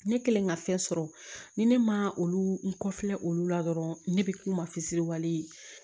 Ne kɛlen ka fɛn sɔrɔ ni ne ma olu n kɔfilɛ olu la dɔrɔn ne bɛ k'u mafisiiriw ye